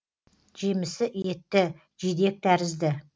жемісі етті жидек тәрізді